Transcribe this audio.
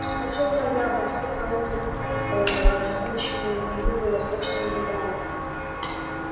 пришёл ноябрь со своими ээ жгучими юго-восточными ветрами